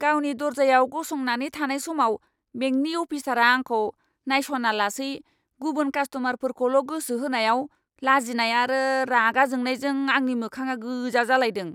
गावनि दर्जायाव गसंनानै थानाय समाव बेंकनि अफिसारआ आंखौ नायस'नालासै गुबुन कास्ट'मारफोरखौल' गोसो होनायाव, लाजिनाय आरो रागा जोंनायजों आंनि मोखाङा गोजा जालायदों!